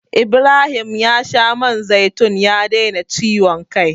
Ibrahim ya sha man zaitun ya daina ciwon kai.